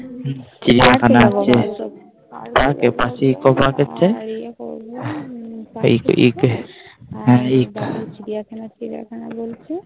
চিড়িয়াখানা আছে এ পাশে eco park আছে চিড়িয়াখানা